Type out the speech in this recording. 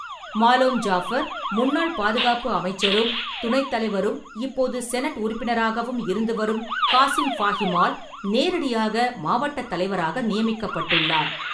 Malom Jaffer, முன்னாள் பாதுகாப்பு அமைச்சரும், துணைத் தலைவரும் இப்போது செனட் உறுப்பினராகவும் இருந்து வரும் காசிம் ஃபாஹிமால், நேரடியாக மாவட்டத் தலைவராக நியமிக்கப்பட்டுள்ளார்.